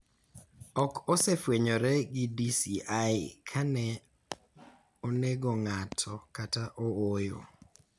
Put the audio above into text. Ok osefwenyore gi DCI ka ne onego ng�ato kata ooyo.